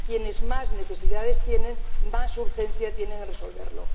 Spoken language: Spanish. Quienes más necesidades tienen, más urgencia tienen en resolverlo.